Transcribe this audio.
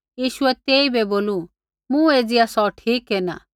यीशुऐ तेइबै बोलू मूँ एज़िया सौ ठीक केरना